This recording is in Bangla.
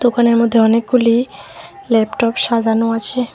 দোকানের মধ্যে অনেকগুলি ল্যাপটপ সাজানো আছে।